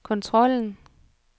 kontrollen